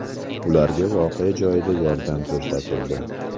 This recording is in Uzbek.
Ularga voqea joyida yordam ko‘rsatildi.